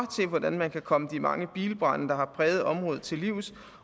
hvordan man kan komme de mange bilbrande der har præget området til livs